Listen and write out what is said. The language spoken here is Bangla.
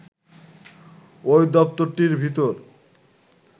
ওই দপ্তরটির ভিতর